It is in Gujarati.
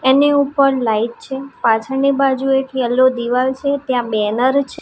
એની ઉપર લાઇટ છે પાછળની બાજુ એક યેલો દીવાલ છે ત્યાં બેનર છ--